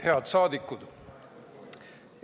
Head rahvasaadikud!